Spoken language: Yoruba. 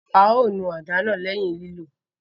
A o nù àdá náà lẹhin lilo